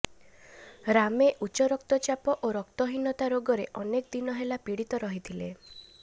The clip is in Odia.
ରାମେ ଉଚ୍ଚରକ୍ତ ଚାପ ଓ ରକ୍ତହିନତା ରୋଗରେ ଅନେକ ଦିନହେଲା ପିଡିତ ରହିଥିଲେ